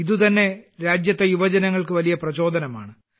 ഇതു തന്നെ രാജ്യത്തെ യുവജനങ്ങൾക്ക് വലിയ പ്രചോദനമാണ്